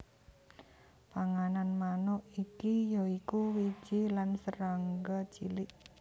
Panganan manuk iki ya iku wiji lan serangga cilik